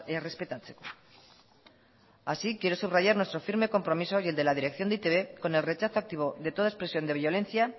errespetatzeko así quiero subrayar nuestro firme compromiso y el de la dirección de e i te be con el rechazo activo de toda expresión de violencia